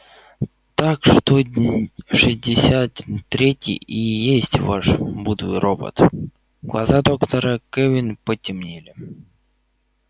так что шестьдесят третий и есть ваш блудный робот глаза доктора кэлвин потемнели